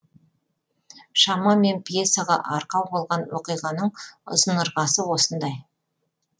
шамамен пьесаға арқау болған оқиғаның ұзын ырғасы осындай